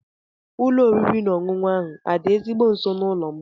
Ụlọ oriri na ọṅụṅụ ahụ adị ezigbo nso n'ụlọ m?